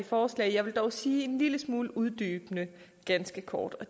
forslag jeg vil dog sige en lille smule uddybende og ganske kort at